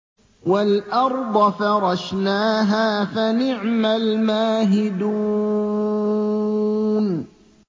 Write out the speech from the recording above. وَالْأَرْضَ فَرَشْنَاهَا فَنِعْمَ الْمَاهِدُونَ